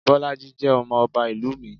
Bolade jẹ́ ọmọ ọba ìlú mi.